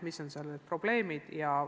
Mis on seal need probleemid?